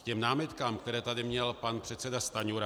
K těm námitkám, které tady měl pan předseda Stanjura...